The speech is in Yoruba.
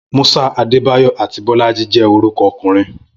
Musa, Adebayor, àti Bolaji jẹ́ orúkọ ọkùnrin.